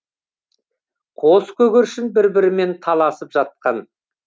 қос көгершін бір бірімен таласып жатқан